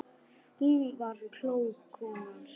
Hún var klók, konan sú.